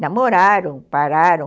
namoraram, pararam.